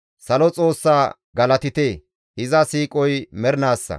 Salo Xoossa galatite! iza siiqoy mernaassa.